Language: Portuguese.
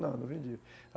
Não, não vendi.